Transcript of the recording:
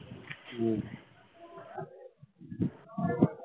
হম